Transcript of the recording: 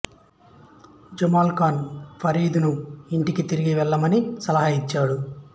జమాల్ ఖాను ఫరీదును ఇంటికి తిరిగి వెళ్ళమని సలహా ఇచ్చాడు